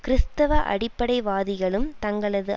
கிறிஸ்தவ அடிப்படைவாதிகளும் தங்களது